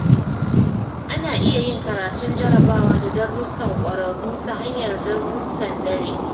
Ana iya yin karatun jarabawa da darussan ƙwararru ta hanyar darussan dare.